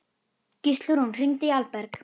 Gíslrún, hringdu í Alberg.